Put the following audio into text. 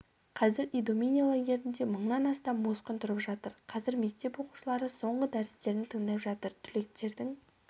қазір идомени лагерінде мыңнан астам босқын тұрып жатыр қазір мектеп оқушылары соңғы дәрістерін тыңдап жатыр түлектердің